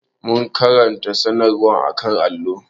Mun karanta sanarwar a kan allo.